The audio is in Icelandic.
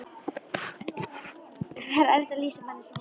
Það er erfitt að lýsa manni eins og honum.